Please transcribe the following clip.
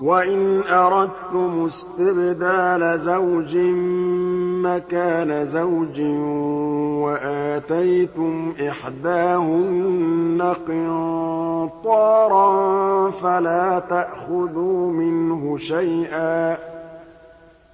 وَإِنْ أَرَدتُّمُ اسْتِبْدَالَ زَوْجٍ مَّكَانَ زَوْجٍ وَآتَيْتُمْ إِحْدَاهُنَّ قِنطَارًا فَلَا تَأْخُذُوا مِنْهُ شَيْئًا ۚ